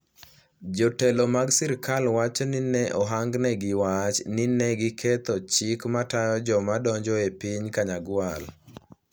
Jotelo mag sirkal wacho ni ne ohangnegi wach ni ne "giketho chike matayo joma donjo e piny Kanyagwal".